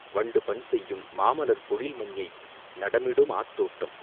வண்டுபண்செயும் மாமலர்ப் பொழில் மஞ்ஞை நடமிடுமாதோட்டம்,